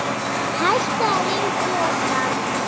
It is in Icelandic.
Hættið að rífa upp mosann.